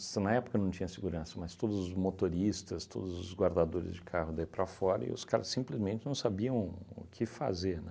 Na época não tinha segurança, mas todos os motoristas, todos os guardadores de carro daí para fora e os caras simplesmente não sabiam o que fazer, né?